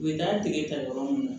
U bɛ n'an dege ta yɔrɔ mun na